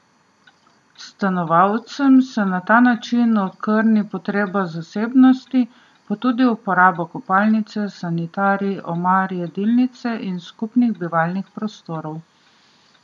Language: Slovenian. Stanovalcem se na ta način okrni potrebna zasebnost, pa tudi uporaba kopalnice, sanitarij, omar, jedilnice in skupnih bivalnih prostorov.